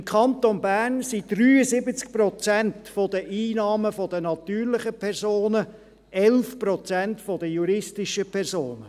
Im Kanton Bern kommen 73 Prozent der Einnahmen von den natürlichen Personen, 11 Prozent von den juristischen Personen.